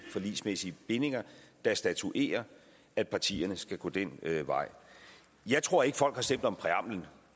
forligsmæssige bindinger der statuerer at partierne skal gå den vej jeg tror ikke at folk har stemt om præamblen